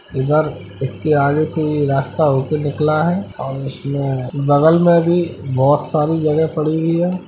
इधर इसके आगे से ये रास्ता होके निकला है और उसमें बगल में भी बहोत सारी जगह पड़ी हुई है।